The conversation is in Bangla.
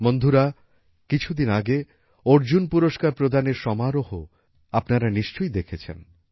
বন্ধুরা কিছুদিন আগে অর্জুন পুরস্কার প্রদানের সমারোহও আপনারা নিশ্চয়ই দেখেছেন